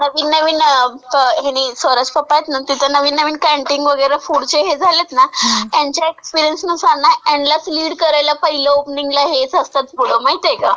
नवीन नवीन..ह्यांनी..सौरवचे पप्पा आहेत ना, तर नवीन नवीन कँटिंग वगैरे फूडचे हे झालेत ना, ह्यांच्या एक सेल्सनुसार यांलाच लीड करायला पहिलं ओपनिंगला हेच असतात पुढं माहितीय का?